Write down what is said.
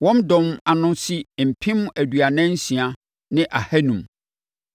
Ne dɔm ano si mpem aduanan nsia ne ahanum (46,500).